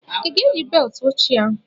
I ga-eyi beltụ oche ahụ?